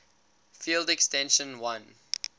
field extension l